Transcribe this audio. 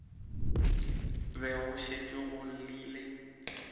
be go šetše go llile